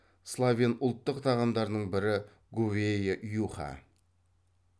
словен ұлттық тағамдарының бірі говейа юха